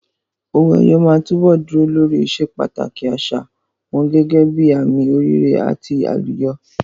Owó ẹyọ máa túbọ̀ dúró lórí ìsepàtàkì àṣà wọn gẹ́gẹ́ bíi àmì oríire àti àlùyọ.